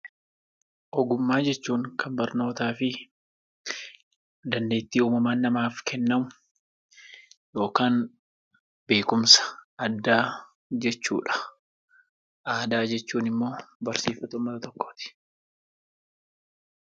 Ogummaa jechuun kan barnootaa fi dandeettii uumamaan namaaf kennamu yookaan beekumsa addaa jechuudha. Aadaa jechuun immoo barsiifata uummata tokkooti.